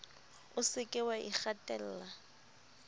o se ke wa ikgatella